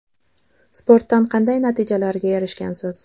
Sportdan qanday natijalarga erishgansiz?